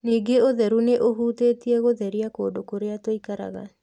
Ningĩ ũtheru nĩ ũhutĩtie gũtheria kũndũ kũrĩa tũikaraga.